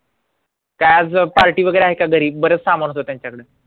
काय आज party वगैरे आहे का घरी बरंच सामान होतं त्यांच्याकडे